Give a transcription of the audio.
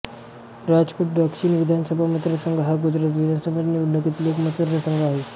राजकोट दक्षिण विधानसभा मतदारसंघ हा गुजरात विधानसभा निवडणुकीतील एक मतदारसंघ आहे